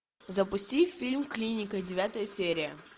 запусти фильм клиника девятая серия